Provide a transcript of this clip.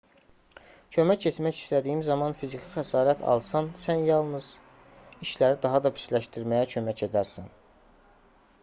kömək etmək istədiyin zaman fiziki xəsarət alsan sən yalnız işləri daha da pisləşdirməyə kömək edərsən